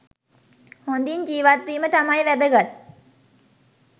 හොඳින් ජීවත්වීම තමයි වැදගත්.